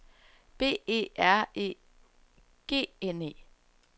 B E R E G N E